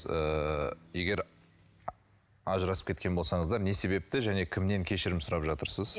ыыы егер ажырасып кеткен болсаңыздар не себепті және кімнен кешірім сұрап жатырсыз